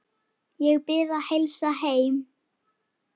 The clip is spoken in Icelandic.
Ég bið að heilsa heim.